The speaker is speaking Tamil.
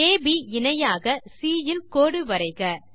அப் இணையாக சி இல் கோடு வரைக